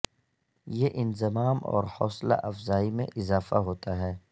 یہ انضمام اور حوصلہ افزائی میں اضافہ ہوتا ہے